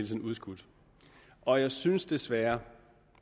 tiden udskudt og jeg synes desværre